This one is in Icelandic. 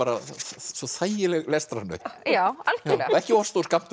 svo þægileg lestrar ekki of stór skammtur